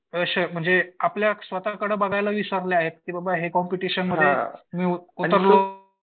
म्हणजे आपल्या स्वतःकडे बघायला विसरले आहेत. की बाबा हे कॉम्पिटिशनमध्ये मी उतरलो